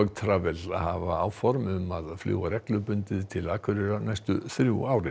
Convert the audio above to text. Travel hafa áform um að fljúga reglubundið til Akureyrar næstu þrjú árin